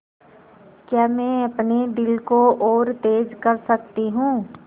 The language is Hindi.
क्या मैं अपने दिल को और तेज़ कर सकती हूँ